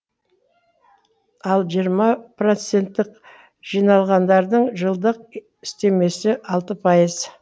ал жиырма процентік жинағандардың жылдық үстемесі алты пайыз